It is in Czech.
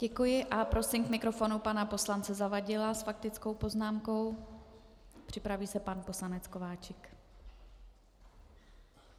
Děkuji a prosím k mikrofonu pana poslance Zavadila s faktickou poznámkou, připraví se pan poslanec Kováčik.